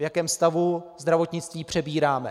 V jakém stavu zdravotnictví přebíráme.